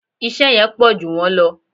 Iṣẹ́ yẹn pọ̀jù wọ́n lọ